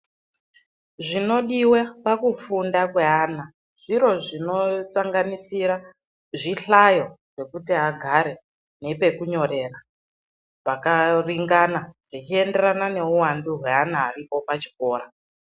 Zvinodive pakufunda kweana zviro zvinosanganisira zvihlayo zvekuti agare nepekunyorera pakaringana, zvichienderana neuvandu hweana aripo pachikora.